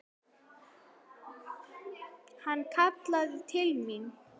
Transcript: Hann kallaði til mín.